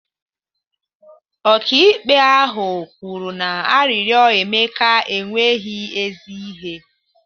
Ọkaikpe ahụ kwuru na arịrịọ Emeka enweghị ezi ihe